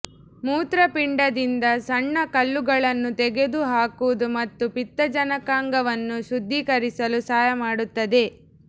ಮೂತ್ರಪಿಂಡದಿಂದ ಸಣ್ಣ ಕಲ್ಲುಗಳನ್ನು ತೆಗೆದುಹಾಕುವುದು ಮತ್ತು ಪಿತ್ತಜನಕಾಂಗವನ್ನು ಶುದ್ಧೀಕರಿಸಲು ಸಹಾಯ ಮಾಡುತ್ತದೆ